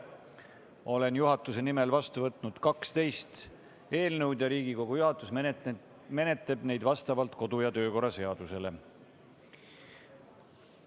Olen juhatuse nimel vastu võtnud 12 eelnõu ja Riigikogu juhatus menetleb neid vastavalt kodu- ja töökorra seadusele.